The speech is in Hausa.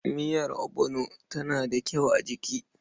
Miyar ogbono tana da kyau a jiki.